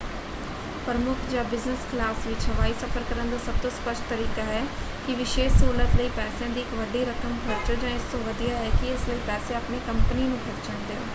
ਪ੍ਰਮੁੱਖ ਜਾਂ business class ਵਿੱਚ ਹਵਾਈ ਸਫ਼ਰ ਕਰਨ ਦਾ ਸਭ ਤੋਂ ਸਪਸ਼ਟ ਤਰੀਕਾ ਹੈ ਕਿ ਇਸ ਵਿਸ਼ੇਸ਼ ਸਹੂਲਤ ਲਈ ਪੈਸਿਆਂ ਦੀ ਇੱਕ ਵੱਡੀ ਰਕਮ ਖਰਚੋ ਜਾਂ ਇਸ ਤੋਂ ਵੀ ਵਧੀਆ ਹੈ ਕਿ ਇਸ ਲਈ ਪੈਸੇ ਆਪਣੀ ਕੰਪਨੀ ਨੂੰ ਖਰਚਣ ਦਿਓ।